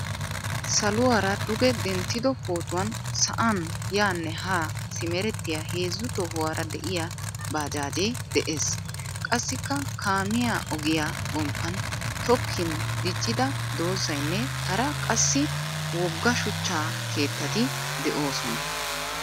Saluwaara duge denttido pootuwan sa'an yaane ha simerettiyaa heezzu tohuwaara de'iyaa baajjaje de'ees. Qassikka kaamiyaa ogiyaa gomppan tokkin diccida doozaynne hara qassi wogga shuchcha keettati deosona.